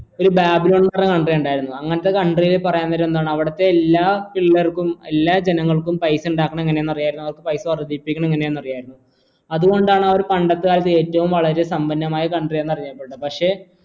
ഒരു അങ്ങനത്തെ counrty ൽ പറയുന്നരം എന്താണ് അവിടത്തെ എല്ലാ പിള്ളേർക്കും എല്ലാ ജനങ്ങൾക്കും പൈസ ഉണ്ടാക്കണത് എങ്ങനെയാണെന്ന് അറിയാമായിരുന്നു അവർക്ക് പൈസ വർദ്ധിപ്പിക്കുന്നത് എങ്ങനെയാണെന്ന് അറിയാമായിരുന്നു അതുകൊണ്ടാണ് അവർ പണ്ടത്തെ ഏറ്റവും വളരെ സമ്പന്നമായ country എന്നറിയപ്പെടുന്നത് പക്ഷേ